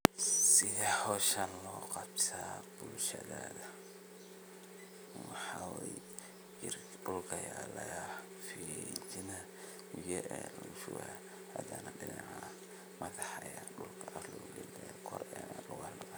Sila hoshan lo qabsada bulshada, waxa ay jir dhulka yeelaya fiidina ugu yeedha reebushu aadan dhanac madaxa iyo dhulka ardayda kor ugaal.